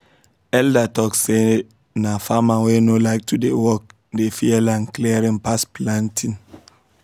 elder talk say na farmer wey no like to dey work dey fear land clearing pass planting